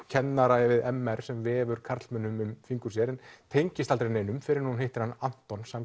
kennara við m r sem vefur karlmönnum um fingur sér hún tengist aldrei neinum fyrr en hún hittir Anton